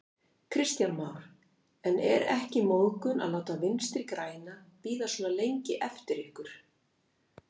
Kristján Már: En er ekki móðgun að láta Vinstri-græna bíða svona lengi eftir ykkur?